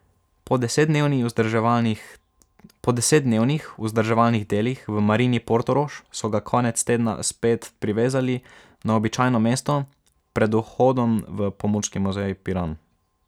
Po desetdnevnih vzdrževalnih delih v Marini Portorož so ga konec tedna spet privezali na običajno mesto pred vhodom v Pomorski muzej Piran.